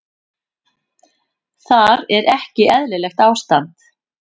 Þar er ekki eðlilegt ástand.